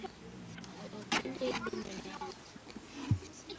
Og að blunda í vinnunni, en það uppátæki.